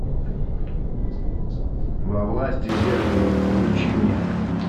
во власти зеркала включи мне